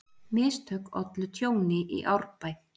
Mistök ollu tjóni í Árbæ